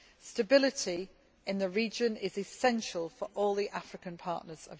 Stability in the region is essential for all Europe's African partners.